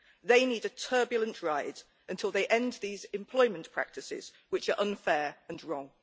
They need a turbulent ride until they end these employment practices which are unfair and wrong.